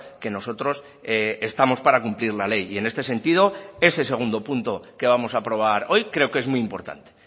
que nosotros estamos para cumplir la ley y en este sentido ese segundo punto que vamos a aprobar hoy creo que es muy importante